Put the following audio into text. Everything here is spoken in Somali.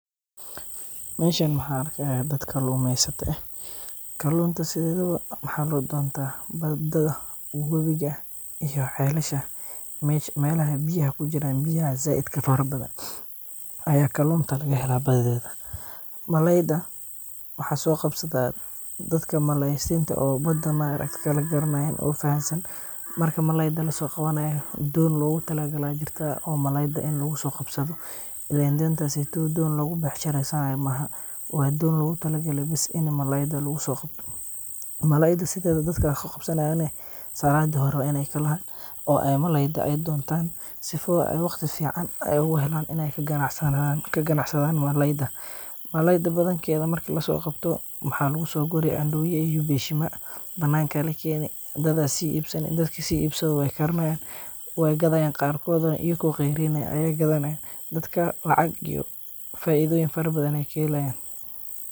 Mesha maxan arkixaya, dad kalumeysata eh, kalunta sidhedawo, maxa lodonta badaa, wawiga iyo celasha, melaxa biyaxa kujiraan, biyaxa zaidka farabadan, aya kalunta lagahela badidedha, malayda waxa sogabsata, dadka maleysinta oo bedaa maarakt kala garanayan oo faxansan, marka malayda lasogawanayo, doon lagutalagalee aya jirta oo malayda in lagusogabsado, ilen dontaseydow doon lagu becshireysanay maaxa, wa doon logutalagale bis ini malayda lagusogabto, malayda sodeda dadka gabsanayan nah, sacada xore wa inay kalaxan, oo ay malayda ay dontan, sifoo oo wagti fican ay uhelan, inay kaqanacsadan malayda, malayda badankeda marka lasogabto, maxa lagusoguri andowya iyo beshima, bananka lakeni, dad aya sii ibsani, dadki sii ibsado way karinayan, way gadayaan, qaarkodu nah ayago qeyrin aya qadanayan, dadka lacag iyo faidoyin fatabadan ay kahelayan.